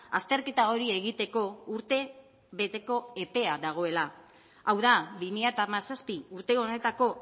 azterketa hori egiteko urtebeteko epea dagoela hau da bi mila hamazazpi urte honetako